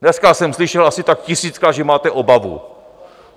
Dneska jsem slyšel asi tak tisíckrát, že máte obavu.